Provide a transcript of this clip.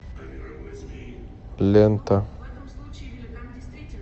лента